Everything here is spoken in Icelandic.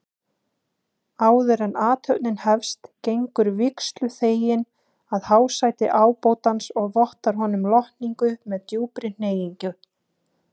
Áðuren athöfnin hefst gengur vígsluþeginn að hásæti ábótans og vottar honum lotningu með djúpri hneigingu.